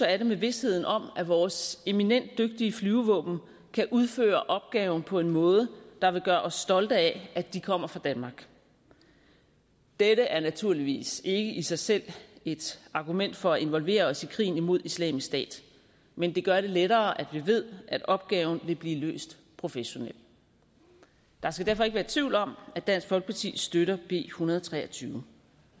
er det med visheden om at vores eminent dygtige flyvevåben kan udføre opgaven på en måde der vil gøre os stolte af at de kommer fra danmark dette er naturligvis ikke i sig selv et argument for at involvere os i krigen mod islamisk stat men det gør det lettere at vi ved at opgaven vil blive løst professionelt der skal derfor ikke være tvivl om at dansk folkeparti støtter b en hundrede og tre og tyve